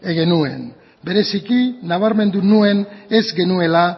genuen bereziki nabarmendu nuen ez genuela